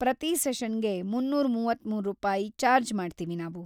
ಪ್ರತಿ ಸೆಷನ್ಗೆ ಮುನ್ನೂರ ಮೂವತ್ತ್ಮೂರು ರೂಪಾಯಿ ಚಾರ್ಜ್‌ ಮಾಡ್ತೀವಿ ನಾವು.